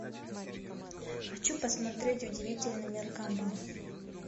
хочу посмотреть удивительный мир гамбола